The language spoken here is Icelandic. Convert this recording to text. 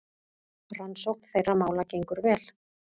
Rannsókn þeirra mála gengur vel.